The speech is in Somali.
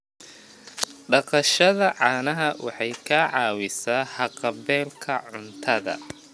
Dhaqashada caanaha waxay ka caawisaa haqab-beelka cuntada.